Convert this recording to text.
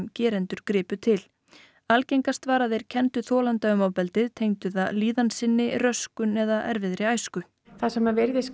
gerendur gripu til algengast var að þeir kenndu þolanda um ofbeldið tengdu það líðan sinni röskun eða erfiðri æsku það sem virðist